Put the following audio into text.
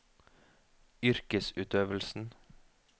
yrkesutøvelsen